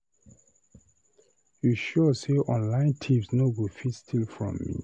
You sure say online thieves no go fit steal from me.